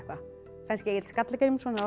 kannski Egill skalla Grímsson hafi átt